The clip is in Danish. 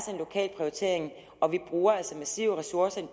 en lokal prioritering og vi bruger altså massive ressourcer i